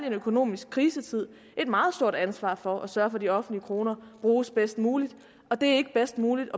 en økonomisk krisetid har et meget stort ansvar for at sørge for at de offentlige kroner bruges bedst muligt og det er ikke bedst muligt